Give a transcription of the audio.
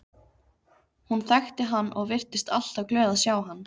Hún þekkti hann og virtist alltaf glöð að sjá hann.